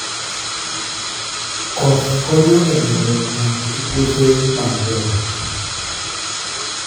Koth konyo e medo nyak e puothe mag joot